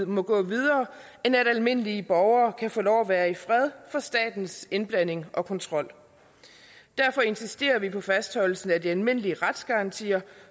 må gå videre end at almindelige borgere kan få lov at være i fred for statens indblanding og kontrol derfor insisterer vi på fastholdelsen af de almindelige retsgarantier